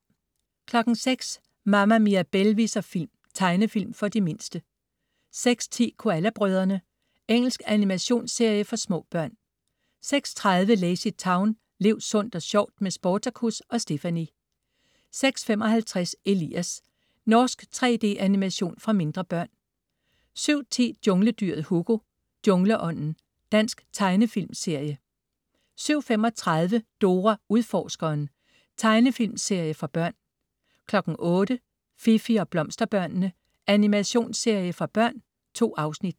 06.00 Mama Mirabelle viser film. Tegnefilm for de mindste 06.10 Koala brødrene. Engelsk animationsserie for små børn 06.30 LazyTown. Lev sundt og sjovt med Sportacus og Stephanie! 06.55 Elias. Norsk 3D-animation for mindre børn 07.10 Jungledyret Hugo. Jungleånden. Dansk tegnefilmserie 07.35 Dora Udforskeren. Tegnefilmserie for børn 08.00 Fifi og Blomsterbørnene. Animationsserie for børn. 2 afsnit